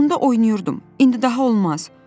Onda oynayırdım, indi daha olmaz.